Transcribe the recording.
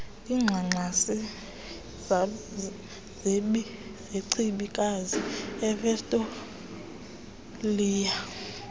ngxangxasi zechibikazi ivictoliya